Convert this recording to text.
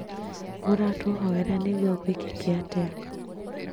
Mũratũhoera nĩgũo gũĩkĩke atĩa?